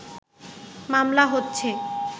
মামলা হচ্ছে